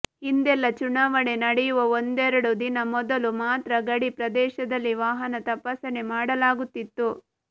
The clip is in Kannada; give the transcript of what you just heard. ಹಿಂದೆಲ್ಲ ಚುನಾವಣೆ ನಡೆಯುವ ಒಂದೆರಡು ದಿನ ಮೊದಲು ಮಾತ್ರ ಗಡಿ ಪ್ರದೇಶದಲ್ಲಿ ವಾಹನ ತಪಾಸಣೆ ಮಾಡಲಾಗುತ್ತಿತ್ತು